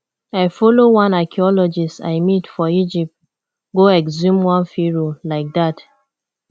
i follow one archeologist i meet for egypt go exhume one pharoah like dat